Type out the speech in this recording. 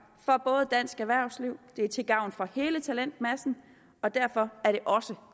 for dansk erhvervsliv de er til gavn for hele talentmassen og derfor er de også